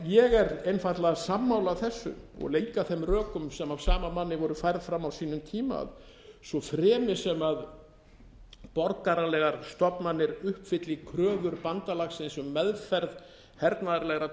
ég er einfaldlega sammála þessu og líka þeim rökum sem af sama manni voru færð fram á sínum tíma að svo fremi sem borgaralegar stofnanir uppfylli kröfur bandalagsins um meðferð hernaðarlegra